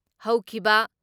ꯍꯧꯈꯤꯕ